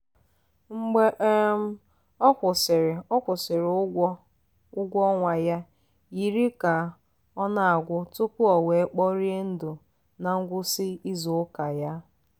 mgbe um ọ kwụsịrị ọ kwụsịrị ụgwọ ụgwọ ọnwa ya yiri ka ọ na-agwụ tupu o wee kporie ndụ na ngwụsị izu ụka ya.